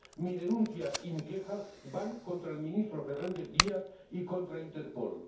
Mi denuncia y mi queja van contra el ministro Fernández Díaz y contra Interpol.